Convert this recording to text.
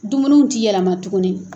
Dumuniw tɛ yɛlɛma tuguni.